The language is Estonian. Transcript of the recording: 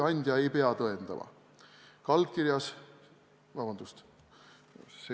Nõndaks.